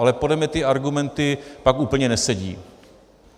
Ale podle mě ty argumenty pak úplně nesedí.